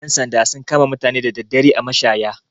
Ƴan sanda sun kama mutane da daddare a mashaya.